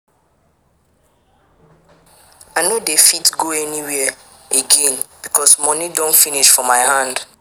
I no dey fit go anywhere again because moni don finish for my hand.